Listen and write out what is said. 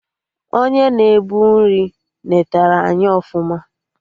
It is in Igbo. Onye na-ebu nri netere anyị ọfụma